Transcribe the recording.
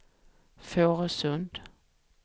Fårösund